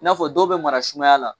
I n'a fɔ dɔw bɛ mara sumaya la